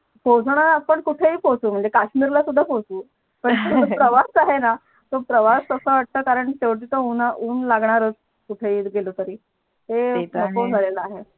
पोचाला आपण कुठे ही पोचू पण म्हणजे काश्मीरला सुद्धा पोचू पण तो जो प्रवास आहे तो प्रवास अस वाटत शेवटी तर उन लागणारच कुठे ही गेलो तरी ते नको ते तर आहे जायला